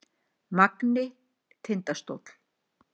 Magni- Tindastóll